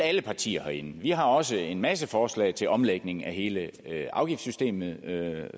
alle partier herinde vi har også en masse forslag til omlægning af hele afgiftssystemet